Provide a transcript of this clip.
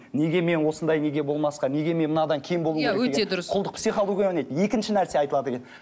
неге мен осындай неге болмасқа неге мен мынадан кем болуым керек деген құлдық психология орнайды екінші нәрсе айтылады екен